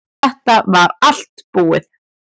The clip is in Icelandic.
Þetta var þá allt búið.